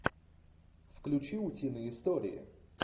включи утиные истории